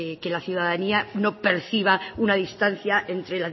que la ciudadanía no perciba una distancia entre